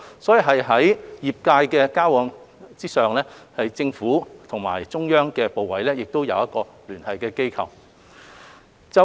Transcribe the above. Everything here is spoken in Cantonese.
可見在業界交往之上，政府與中央部委亦有一個聯繫機制。